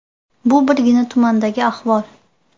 Bu birgina tumandagi ahvol.